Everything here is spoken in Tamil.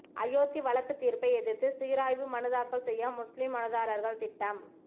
அயோத்தி வழக்கு தீர்ப்பை எதிர்த்து சீராய்வு மனு தாக்கல் செய்ய முஸ்லிம் மனுதாரர்கள் திட்டம்